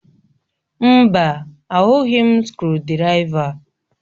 Mba, ahụghị m skrụdiraiva